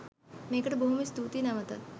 මේකට බොහොම ස්තුතියි නැවතත්